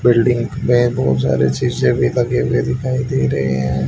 Building मे बहुत सारे सीसे भी लगे हुए दिखाई दे रहे है।